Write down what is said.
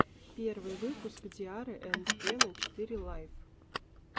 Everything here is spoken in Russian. первый выпуск ди арры энд кена четыре лайф